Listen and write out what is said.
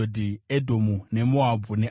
Edhomu neMoabhu neAmoni;